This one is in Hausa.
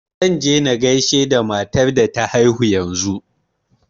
Zan je na gasihe da matar da ta haihu yanzu.